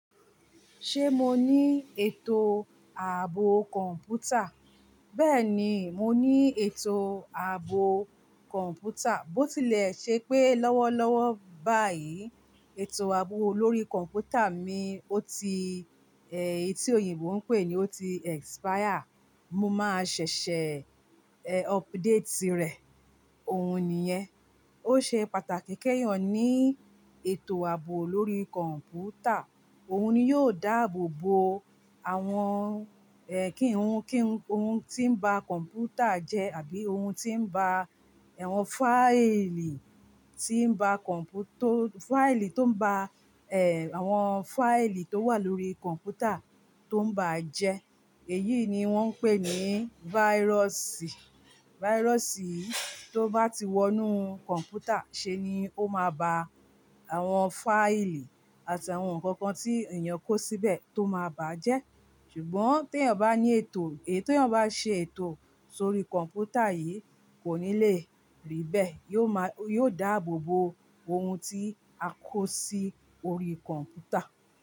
Ṣé mo ní ètò ààbò kọ̀ǹpútà? Bẹ́ẹ̀ni, mo ní ètò ààbò kọ̀ǹpútà, bó ti lè ṣe pé lọ́wọ́ lọ́wọ́ báyìí, ètò ààbò lórí kọ̀ǹpútà mi, ó ti, ẹ, èyí tí oyinbo ń pè ni ó ti expire. Mo máa ṣẹ̀ṣẹ̀ ẹ, update rẹ̀, òun nìyẹn. Ó ṣe pàtàkì ke eeyan ní ètò ààbò lórí kọ̀ǹpútà, òun ni yóò dáàbò bo àwọn ẹ, kí ohun, kí ohun tí ń ba kọ̀ǹpútà jẹ́ àbí ohun tí ń ba awọn fáìlì tí ń ba kọ̀ǹpútó, fáìlì tó ń ba ẹ, àwọn fáìlì tó wà lórí kọ̀ǹpútà tó ń ba jẹ́. Èyí ni wọ́n ń pè ní váírọ̀sì. Fáírọ̀sì tó bá ti wọnú kọ̀ǹpútà ṣe ni ó máa ba àwọn fáìlì àti àwọn nǹkan kan tí èèyàn kó síbẹ̀ tó máa bà á jẹ́. Ṣùgbọ́n tí èèyàn bá ní ètò, èyí tí èèyàn bá ṣe ètò sórí kọ̀ǹpútà yìí kò ní lè rí bẹ́ẹ̀. Yóò máa, yóò dáàbò bo ohun tí a kó sí orí kọ̀ǹpútà.